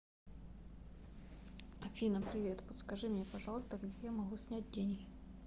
афина привет подскажи мне пожалуйста где я могу снять деньги